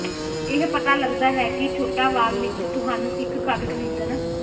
ਇਹ ਪਤਾ ਲੱਗਦਾ ਹੈ ਕਿ ਛੋਟਾ ਵਾਰ ਵਿੱਚ ਤੁਹਾਨੂੰ ਇੱਕ ਘਰ ਖਰੀਦਣ